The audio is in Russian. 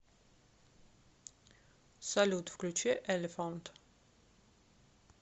салют включи элефант